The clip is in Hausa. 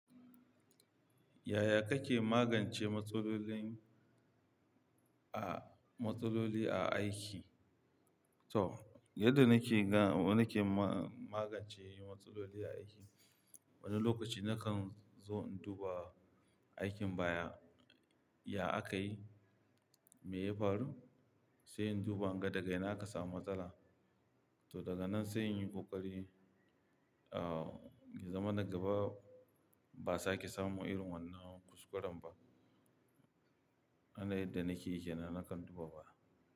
Yaya kake magance matsalolin a, matsaloli a aiki? To, yadda nake ga, nake ma-magance matsaloli a aiki, wani lokaci na kan zo in duba aikin baya, ya aka yi, me ya faru, sai in duba daga ina aka samu matsala. To daga nan sai in yi ƙoƙari, uh, zama na gaba ba sa ki samu irin wannan kuskuran ba. Hane yadda nake, nake duba ba.